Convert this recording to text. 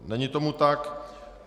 Není tomu tak.